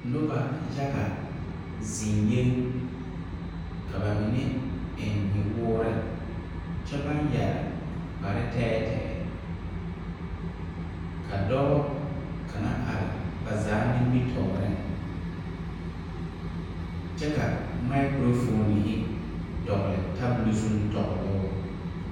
Noba yaga zeŋ yeŋ ka ba mine eŋ nyɔwoore kyɛ yɛre kpare tɛɛtɛɛ ka dɔɔ kaŋa are ba zaa nimitɔɔreŋ kyɛ maakrofoonihi dogle tabole zuŋ tɔgloo.